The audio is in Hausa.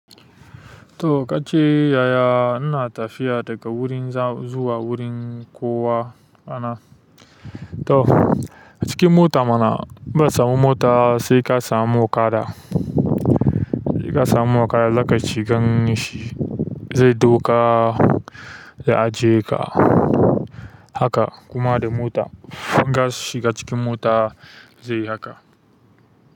To ka ce yaya ina tafiya daga wurin za zuwa wurin kowa ana? To a cikin mota mana, in ban samu mota sai ka samu kada. Sai ka samu okada zaka shigan shi. Zai ɗauka ya ajiye ka haka kuma da mota zaka shiga cikin mota zai haka.